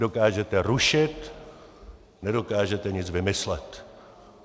Dokážete rušit, nedokážete nic vymyslet.